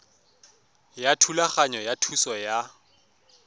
ya thulaganyo ya thuso ya